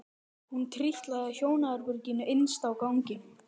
Hún trítlaði að hjónaherberginu innst á ganginum.